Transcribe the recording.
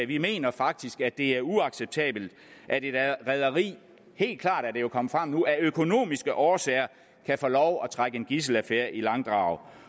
vi mener faktisk at det er uacceptabelt at et rederi helt klart er det jo kommet frem nu af økonomiske årsager kan få lov at trække en gidselaffære i langdrag